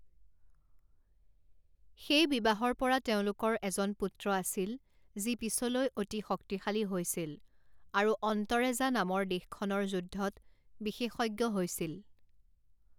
সেই বিবাহৰ পৰা তেওঁলোকৰ এজন পুত্ৰ আছিল যি পিছলৈ অতি শক্তিশালী হৈছিল আৰু অন্তৰেজা নামৰ দেশখনৰ যুদ্ধত বিশেষজ্ঞ হৈছিল।